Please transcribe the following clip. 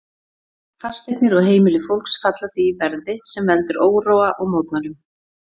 Fasteignir og heimili fólks falla því verði, sem veldur óróa og mótmælum.